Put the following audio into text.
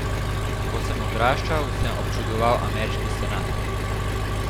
Ko sem odraščal, sem občudoval ameriški senat.